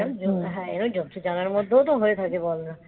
হ্যাঁ এবার জন্তু জানোয়ারের মধ্যেও তো হয়ে থাকে ধর